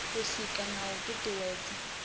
u sika na u tutuwedza